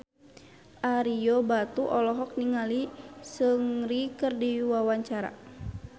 Ario Batu olohok ningali Seungri keur diwawancara